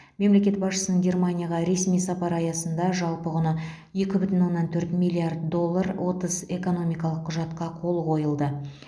мемлекет басшысының германияға ресми сапары аясында жалпы құны екі бүтін оннан төрт миллиард доллар отыз экономикалық құжатқа қол қойылды